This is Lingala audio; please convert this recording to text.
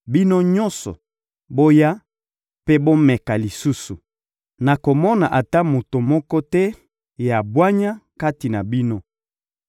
Bino nyonso, boya mpe bomeka lisusu! Nakomona ata moto moko te ya bwanya kati na bino.